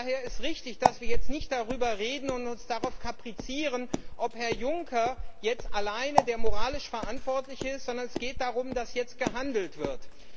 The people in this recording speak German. Daher ist richtig, dass wir jetzt nicht darüber reden und uns darauf kaprizieren, ob Herr Juncker alleine der moralisch Verantwortliche ist, sondern es geht darum, dass jetzt gehandelt wird.